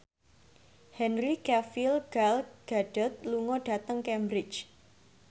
Henry Cavill Gal Gadot lunga dhateng Cambridge